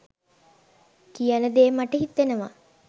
කියන දේ මට හිතෙනවා.